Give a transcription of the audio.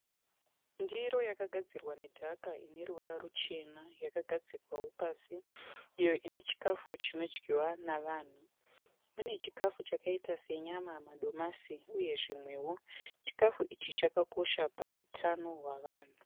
Ndiro yakagadzirwa nedhaka ine ruvara ruchena yakagadzikwawo pasi iyo ine chikafu chinodyiwa navanhu. Mune muchikafu chakaita senyama, madomasi uye zvimwewo. Chikafu ichi chakakosha pahutano hwavanhu.